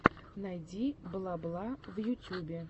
найди бла бла в ютьюбе